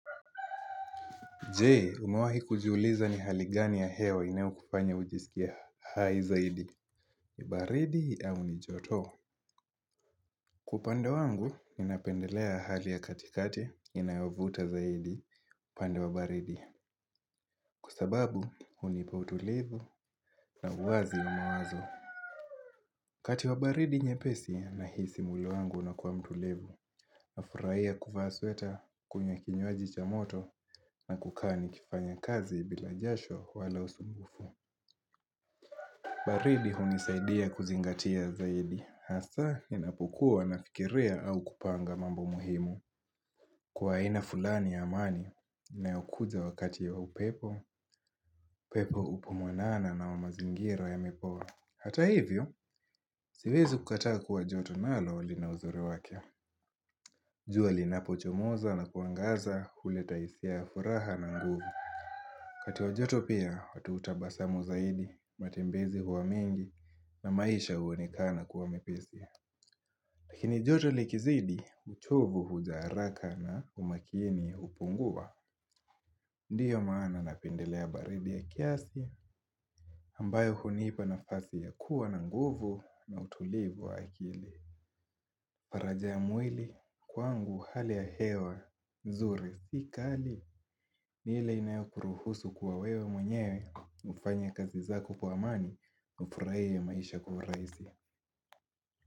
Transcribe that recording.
Je? Umewahi kujiuliza ni hali gani ya hewa inayokufanya ujisikie hai zaidi, ni baridi au ni joto? Kwa upande wangu, ninapendelea hali ya katikati inayovuta zaidi pande wa baridi. Kwa sababu, hunipa utulivu na uwazi ya mawazo.kati wa baridi nyepesi nahisi mwili wangu unakuwa mtulivu, nafurahia kuvaa sweta, kunywa kinywaji cha moto na kukaa nikifanya kazi bila jasho wala usumbufu. Baridi hunisaidia kuzingatia zaidi, hasa ninapokuwa nafikiria au kupanga mambo muhimu. Kwa aina fulani ya amani na inayokuja wakati ya upepo, pepo upo mwanana na wa mazingira yamepoa. Hata hivyo, siwezi kukataa kuwa joto nalo lina uzuri wake. Jua linapochomoza na kuangaza huleta hisia ya furaha na nguvu. Kati wa joto pia, watu hutabasamu zaidi, matembezi huwa mengi na maisha huonekana kuwa mepesi Lakini joto likizidi, uchovu huja haraka na umakini hupungua Ndiyo maana napendelea baridi ya kiasi, ambayo hunipa nafasi ya kuwa na nguvu na utulivu wa akili faraja ya mwili, kwangu hali ya hewa, nzuri si kali ni ile inayokuruhusu kuwa wewe mwenyewe ufanye kazi zako kwa amani ufurahie maisha kwa urahisi.